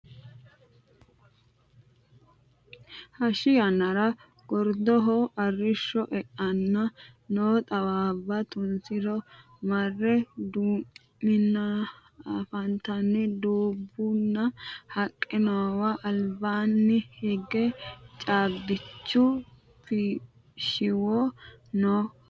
hashshi yannara gordoho arrishsho e"enna noo xawaabba tunsara mare duu'minoha anfanninna dubbunna haqqe noowa albaanni hige caabbichu shiwo no yaate